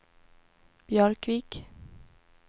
Björkvik